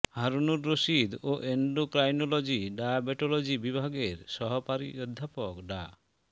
হারুনুর রশীদ ও endocrinology diabetology বিভাগের সহকারী অধ্যাপক ডা